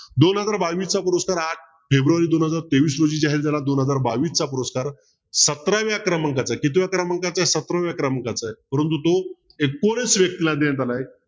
दोन हजार बावीसचा पुरस्कार आठ फेब्रुवारी दोन हजार तेवीस रोजी जाहीर झाला दोन हजार बावीसचा पुरस्कार सतराव्या क्रमांकाचा कितव्या क्रमांकाचा सतराव्या क्रमांकाचा परंतु तो व्यक्तीला द्यायचा नाही